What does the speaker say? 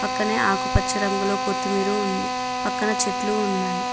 పక్కనే ఆకుపచ్చ రంగులో కొత్తిమీర ఉంది పక్కన చెట్లు ఉన్నాయి.